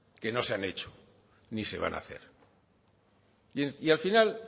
que no se han hecho ni se van a hacer y al final